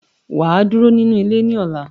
Waa duro ninu ile ni ola.